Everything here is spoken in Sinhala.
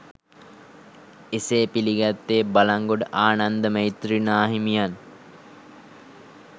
එසේ පිළිගත්තේ බලංගොඩ ආනන්ද මෛත්‍රී නාහිමියන්